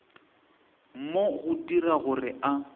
go mo dira gore a